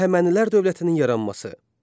Əhəmənilər dövlətinin yaranması.